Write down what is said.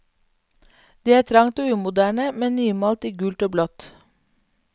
Det er trangt og umoderne, men nymalt i gult og blått.